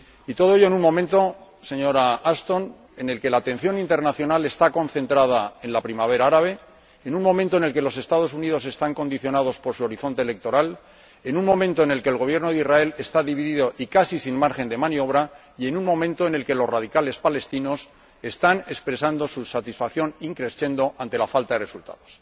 Y todo ello en un momento, señora Ashton, en el que la atención internacional está concentrada en la primavera árabe, en un momento en el que los Estados Unidos están condicionados por su horizonte electoral, en un momento en el que el Gobierno de Israel está dividido y casi sin margen de maniobra y en un momento en el que los radicales palestinos están expresando su satisfacción in crescendo ante la falta de resultados.